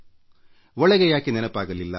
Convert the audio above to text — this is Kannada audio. ಒಳಗೆ ಯಾಕೆ ನೆನಪಾಗಲಿಲ್ಲ